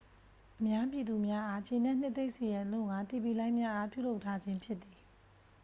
အများပြည်သူများအား ကျေနှပ်နှစ်သိမ့်စေရန်အလို့ဌာ တီဗီလိုင်းများအား ပြုလုပ်ထားခြင်း ဖြစ်သည်